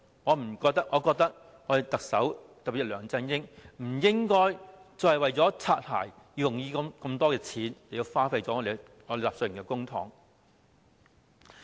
我認為政府，特別是特首梁振英，不應該再為"擦鞋"而花這麼多錢，浪費納稅人的公帑。